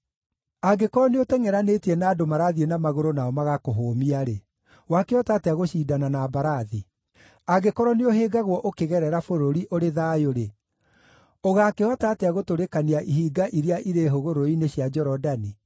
“Angĩkorwo nĩũtengʼeranĩtie na andũ marathiĩ na magũrũ nao magakũhũmia-rĩ, wakĩhota atĩa gũcindana na mbarathi? Angĩkorwo nĩũhĩngagwo ũkĩgerera bũrũri ũrĩ thayũ-rĩ, ũgaakĩhota atĩa gũtũrĩkania ihinga iria irĩ hũgũrũrũ-inĩ cia Jorodani?